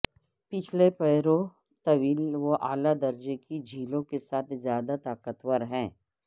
پچھلے پیروں طویل اور اعلی درجے کی جھلیوں کے ساتھ زیادہ طاقتور ہیں